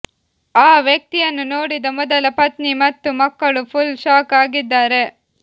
ಆ ವ್ಯಕ್ತಿಯನ್ನು ನೋಡಿದ ಮೊದಲ ಪತ್ನಿ ಮತ್ತು ಮಕ್ಕಳು ಫುಲ್ ಶಾಕ್ ಆಗಿದ್ದಾರೆ